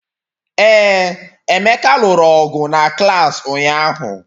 Ee, Emeka lụrụ ọgụ na klaasị ụnyahụ